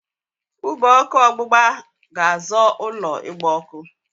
Ube ọkụ ọgbụgba ga-azọ ụlọ ịgba ọkụ.